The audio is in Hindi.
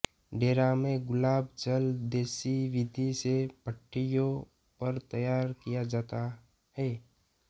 डेरा में गुलाब जल देसी विधि से भट्ठियों पर तैयार किया जाता है